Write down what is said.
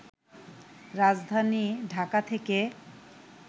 রাজধানী ঢাকা থেকে